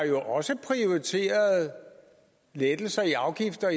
jo også prioriteret lettelser i afgifter